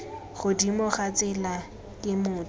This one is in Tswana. godimo ga tsela ke motho